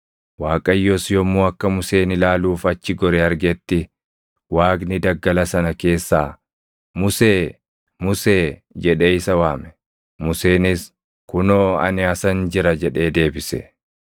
Waaqayyos yommuu akka Museen ilaaluuf achi gore argetti, Waaqni daggala sana keessaa, “Musee! Musee!” jedhee isa waame. Museenis, “Kunoo ani asan jira” jedhee deebise.